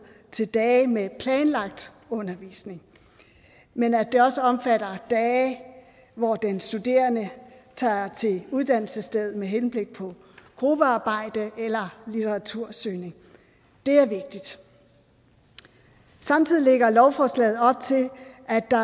til dage med planlagt undervisning men at det også omfatter dage hvor den studerende tager til uddannelsesstedet med henblik på gruppearbejde eller litteratursøgning det er vigtigt samtidig lægger lovforslaget op til at der